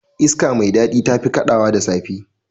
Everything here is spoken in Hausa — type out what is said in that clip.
Iska mai dadi tafi kadawa da safe.